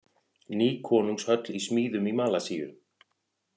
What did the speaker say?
Ný konungshöll í smíðum í Malasíu